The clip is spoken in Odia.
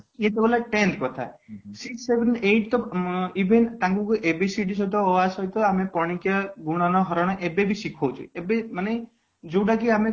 ଇୟେ ତ ଗଲା tenth କଥା sixth, seventh, eight ତ even ତାଙ୍କୁ ABCD ସହିତ ଅ ଆ ସହିତ ଆମେ ପଣିକିଆ, ଗୁଣନ, ହରଣ ଏବେ ବି ଶିଖାଉଛୁ ଏବେ ମାନେ ଯୋଉଟା କି ଆମେ